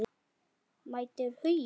Mætir Huginn?